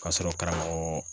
Ka sɔrɔ karamɔgɔ